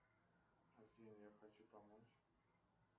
афина я хочу помочь